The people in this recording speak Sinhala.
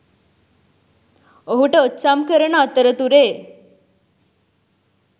ඔහුට ඔච්චම් කරන අතරතුරේ